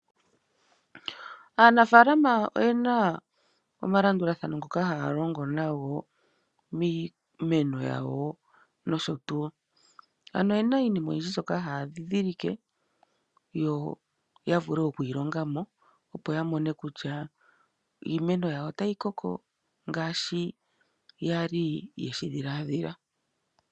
Aanafalama oyena omalandulathano ngoka haya longo nago miimeno yawo nosho tuu. Ano oyena iinima oyindji mbyoka haya ndhindhilike yo yavule okuyi longa mo, opo ya mone kutya iimeno yawo otayi koko ngaashi yali yeshi dhiladhila.